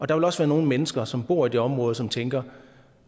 der vil også være nogle mennesker som bor i det område som tænker